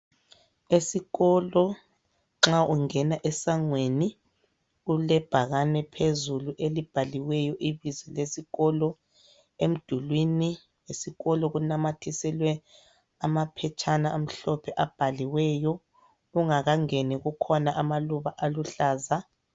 Esikolo nxa ungena esangweni, kulebhakane phezulu elibhaliweyo ibizo lesikolo. Emdulwini esikolo kunamathiselwe amaphetshana amhlophe abhaliweyo. Ungakangeni kukhona amaluba aluhlaza.